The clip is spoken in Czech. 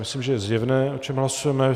Myslím, že je zjevné, o čem hlasujeme.